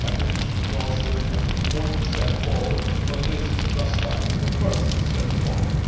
I think we should endorse this as an important step forward but it is just that the first step forward.